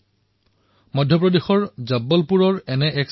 নিস্বাৰ্থভাৱে সেৱা প্ৰদান কৰা এই চিকিৎসকৰ দলটো অৱশ্যেই প্ৰশংসাৰ পাত্ৰ